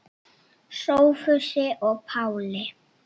Sophusi og Páli.